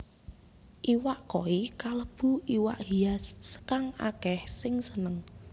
Iwak koi kalebu iwak hias kang akèh sing seneng